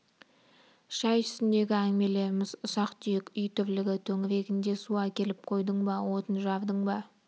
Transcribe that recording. шай үстіндегі әңгімелеріміз ұсақ-түйек үй тірлігі төңірегінде су әкеліп қойдың ба отын жардың ба